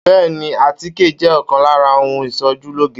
Bẹ́ẹ́ni, àtíkè jẹ́ ọ̀kan lára ohun ìsojú lóge.